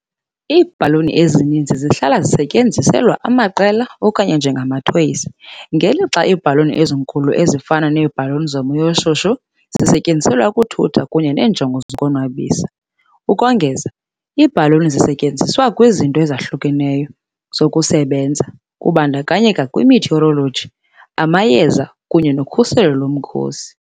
Iibhaluni ezincinci zihlala zisetyenziselwa amaqela okanye njengamathoyizi, ngelixa iibhaluni ezinkulu, ezifana neebhaluni zomoya oshushu, zisetyenziselwa ukuthutha kunye neenjongo zokuzonwabisa. Ukongeza, iibhaluni zisetyenziswa kwizinto ezahlukeneyo zokusebenza, kubandakanya i-meteorology, amayeza, kunye nokhuselo lomkhosi.